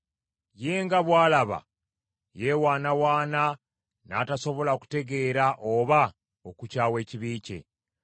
Ye nga bw’alaba yeewaanawaana n’atasobola kutegeera oba okukyawa ekibi kye.